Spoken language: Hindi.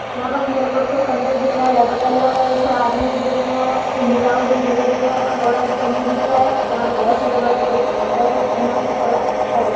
यहाँ पस मेरे को एक ठो खंडर दिख रहा हैं डबल तल का एक ठो आदमी देखने आया एक ठो बुढ़ऊ भेजरे से दिख रहा हैं यहाँ पर बहुर सारे बड़े बड़े खंडर हैं यहाँ पर थोड़ा अच्छा--